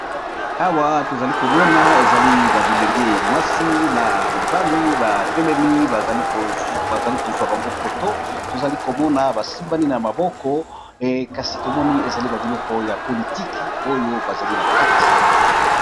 awa tozali komona ezali babilenge mwasi na mibali ba telemi bazali kozwa bango foto tozali komona basimbani na maboko kasi tomoni ezali babiloko ya politiki oyo bazali na kati